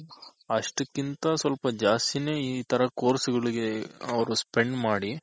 ಅಷ್ಟಕ್ಕಿಂತ ಸ್ವಲ್ಪ ಜಾಸ್ತಿನೆ ಈ ತರ Course ಗಳಿಗೆ ಅವ್ರು spend ಮಾಡಿ